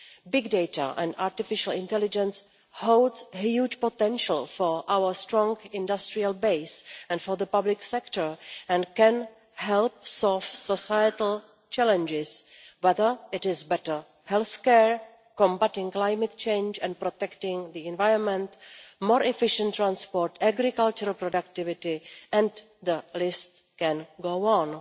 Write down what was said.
Big data and artificial intelligence holds huge potential for our strong industrial base and for the public sector and can help solve societal challenges, whether it is better health care, combating climate change and protecting the environment, more efficient transport, agricultural productivity and the list can go on.